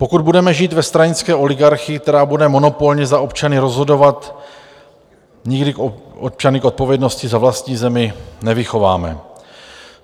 Pokud budeme žít ve stranické oligarchii, která bude monopolně za občany rozhodovat, nikdy občany k odpovědnosti za vlastní zemi nevychováme.